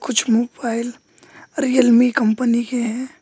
कुछ mobile Realme company के हैं।